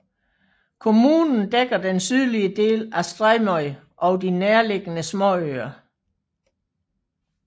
Kommunen dækker den sydlige del af Streymoy og de nærliggende småøer